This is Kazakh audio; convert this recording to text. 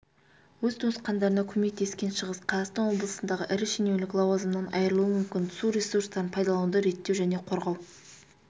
өз туысқандарына көмектескеншығыс қазақстан облысындағы ірі шенеунік лауазымынан айырылуы мүмкін су ресурстарын пайдалануды реттеу және қорғау